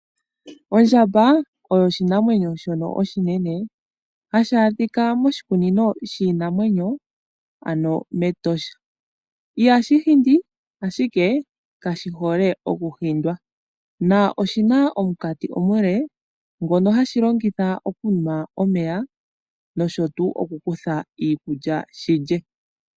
Ondjamba oyo oshinamwenyo shono oshinene hashi adhika moshikunino shiinamwenyo, ano mEtosha. Ihashi hindi, ashike kashi hole okuhindwa. Oshi na omunkati omule ngono hashi longitha okunwa omeya noshowo okukutha iikulya shi lye.